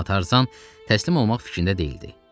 Amma Tarzan təslim olmaq fikrində deyildi.